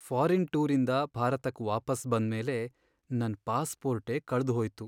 Foreign ಟೂರಿಂದ ಭಾರತಕ್ ವಾಪಸ್ ಬಂದ್ಮೇಲೆ ನನ್ ಪಾಸ್ಪೋರ್ಟೇ ಕಳ್ದ್ಹೋಯ್ತು.